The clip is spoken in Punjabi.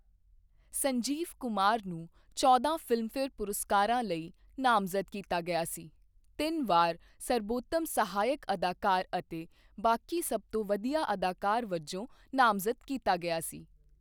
ਸੰਜੀਵ ਕੁਮਾਰ ਨੂੰ ਚੌਂਦਾ ਫ਼ਿਲਮਫੇਅਰ ਪੁਰਸਕਰਵਾਂ ਲਈ ਨਾਮਜ਼ਦ ਕੀਤਾ ਗਿਆ ਸੀ, ਤਿੰਨ ਵਾਰ ਸਰਬੋਤਮ ਸਹਾਇਕ ਅਦਾਕਾਰ ਅਤੇ ਬਾਕੀ ਸਭ ਤੋਂ ਵਧੀਆ ਅਦਾਕਾਰ ਵਜੋਂ ਨਾਮਜ਼ਦ ਕੀਤਾ ਗਿਆ ਸੀ।